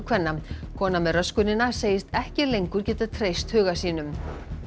kvenna kona með segist ekki lengur geta treyst huga sínum